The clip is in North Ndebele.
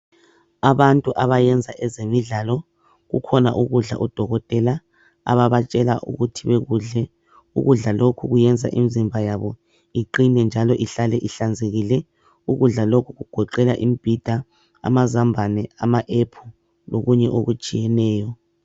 Abantu abayenza ezemidlalo kukhona ukudla odokotela ababatshela ukuthi bekudle ukudla lokhu kuyenza imizimba yabo iqine njalo ihlale ihlanzekile ukudla lokhu kugoqela imbhida amazambane ama apple lokunye okutshiyeneyo.